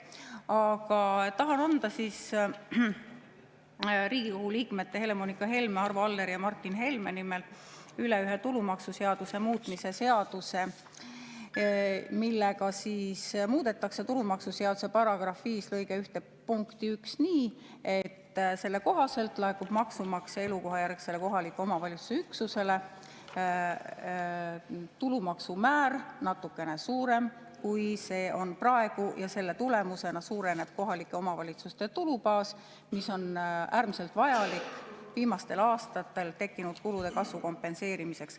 Aga tahan anda Riigikogu liikmete Helle-Moonika Helme, Arvo Alleri ja Martin Helme nimel üle ühe tulumaksuseaduse muutmise seaduse, millega muudetakse tulumaksuseaduse § 5 lõike 1 punkti 1 nii, et selle kohaselt on maksumaksja elukohajärgsele kohaliku omavalitsuse üksusele tulumaksu määr natukene suurem, kui see on praegu, ja selle tulemusena suureneb kohalike omavalitsuste tulubaas, mis on äärmiselt vajalik viimastel aastatel tekkinud kulude kasvu kompenseerimiseks.